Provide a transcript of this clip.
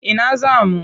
Ina za mu?